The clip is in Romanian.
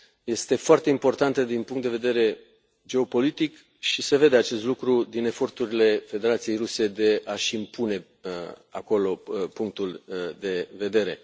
Este foarte importantă din punct de vedere geopolitic și se vede acest lucru din eforturile Federației Ruse de a și impune acolo punctul de vedere.